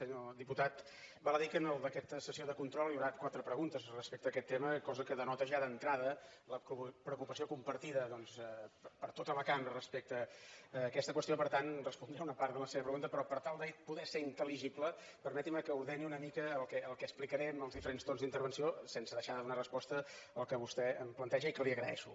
senyor diputat val a dir que en aquesta sessió de control hi haurà quatre preguntes respecte a aquest tema cosa que denota ja d’entrada la preocupació compartida doncs per tota la cambra respecte a aquesta qüestió per tant respondré una part de la seva pregunta però per tal de poder ser intel·ligible permetin me que ordeni una mica el que explicaré en els diferents torns d’intervenció sense deixar de donar resposta al que vostè em planteja i que li agraeixo